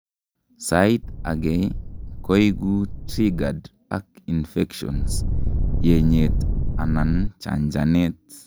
sait agei koiku triggered ak infection, yenyet anan chanchanet